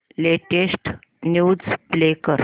latest news play कर